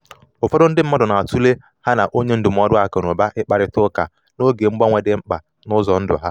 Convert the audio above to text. ụfọdụ ndi mmadụ na-atụle ha na onye ndụmọdụ aku na uba ikparita uka n’oge mgbanwe dị mkpa n’ụzọ ndụ ha.